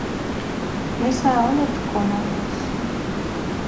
Nĩ sawa nĩtũkona rũciũ